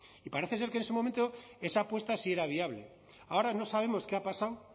y parece ser que en ese momento esa apuesta sí era viable ahora no sabemos qué ha pasado